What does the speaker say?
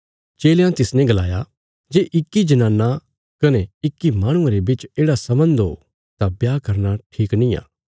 चेलयां तिसने गलाया जे इक्की जनाना कने इक्की माहणुये रे बिच येढ़ा सम्बन्ध ओ तां ब्याह करना ठीक निआं